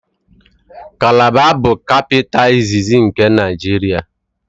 Kalaba bụ kapịta iziz nke Naịjiria